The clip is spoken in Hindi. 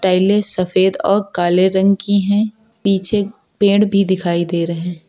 टाइलें सफेद और काले रंग की हैं पीछे पेड़ भी दिखाई दे रहे हैं।